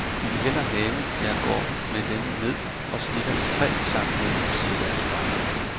De vil hellere have, jeg går med dem ned og snitter i træ sammen med dem, siger deres far.